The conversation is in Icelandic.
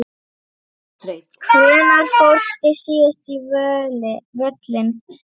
Hvenær fórstu síðast á völlinn?